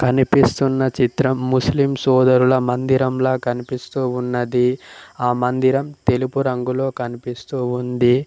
కనిపిస్తున్న చిత్రం ముస్లిం సోదరుల మందిరం లా కనిపిస్తూ ఉన్నది ఆ మందిరం తెలుపు రంగులో కనిపిస్తూ ఉంది.